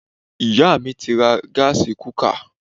Iyá mi ti ra gásí kukà